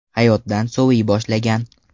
Hayotdan soviy boshlagan.